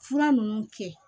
Fura ninnu kɛ